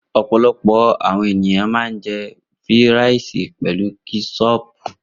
Opolopo àwọn ènìyàn ma ń jẹ́ fíràìsì pelu kẹ́sọpù.